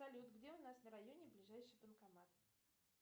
салют где у нас на районе ближайший банкомат